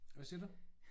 Hvad siger du?